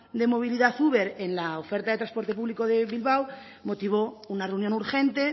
de movilidad uber en la oferta de transporte público de bilbao motivó una reunión urgente